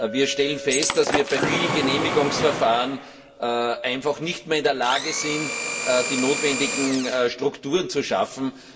Wir stellen fest, dass wir bei vielen Genehmigungsverfahren einfach nicht mehr in der Lage sind, die notwendigen Strukturen zu schaffen.